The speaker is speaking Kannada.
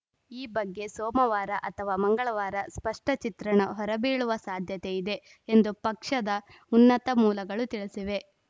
ಈ ಬಗ್ಗೆ ಸೋಮವಾರ ಅಥವಾ ಮಂಗಳವಾರ ಸ್ಪಷ್ಟಚಿತ್ರಣ ಹೊರಬೀಳುವ ಸಾಧ್ಯತೆಯಿದೆ ಎಂದು ಪಕ್ಷದ ಉನ್ನತ ಮೂಲಗಳು ತಿಳಿಸಿವೆ